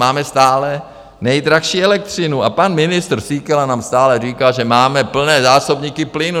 Máme stále nejdražší elektřinu a pan ministr Síkela nám stále říká, že máme plné zásobníky plynu.